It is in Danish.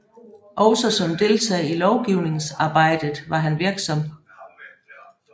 Også som deltager i lovgivningsarbejdjet var han virksom